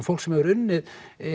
fólk sem hefur unnið